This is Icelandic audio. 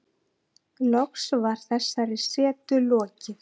Loks var þessari setu lokið.